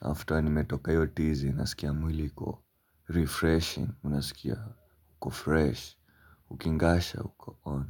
after nimetoka hiyo tizi nasikia mwili iko Refreshing. Unasikia. Huko fresh ukingasha huko on.